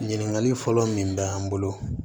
Ɲininkali fɔlɔ min bɛ an bolo